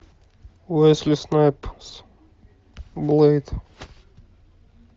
уэсли снайпс блэйд